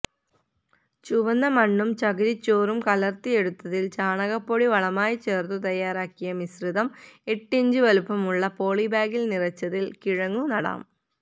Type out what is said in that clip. ചുവന്ന മണ്ണും ചകിരിച്ചോറും കലർത്തിയെടുത്തതിൽ ചാണകപ്പൊടി വളമായി ചേർത്തു തയാറാക്കിയ മിശ്രിതം എട്ടിഞ്ച് വലുപ്പമുള്ള പോളിബാഗിൽ നിറച്ചതിൽ കിഴങ്ങു നടാം